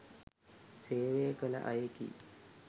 සේවය කළ අයෙකි